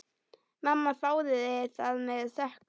Mamma þáði það með þökkum.